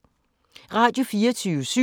Radio24syv